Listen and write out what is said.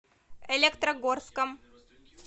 электрогорском